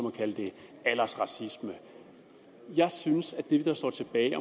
at kalde det aldersracisme jeg synes at det der står tilbage i